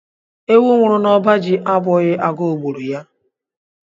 Ewu nwụrụ n'ọba ji abụghi agụ gburu ya.